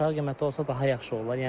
Aşağı qiyməti olsa daha yaxşı olar.